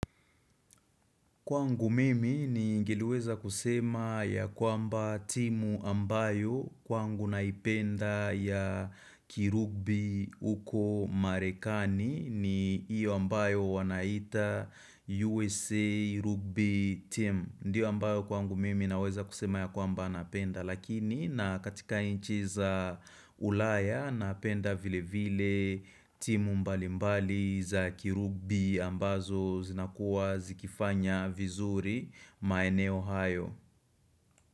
Kwangu mimi ningeliweza kusema ya kwamba timu ambayo kwangu naipenda ya kirugbi huko marekani ni hiyo ambayo wanaita USA Rugby team. Ndiyo ambayo kwangu mimi naweza kusema ya kwamba napenda lakini na katika nchi za ulaya napenda vile vile timu mbali mbali za kirugbi ambazo zinakuwa zikifanya vizuri maeneo hayo.